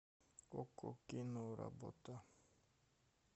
окко киноработа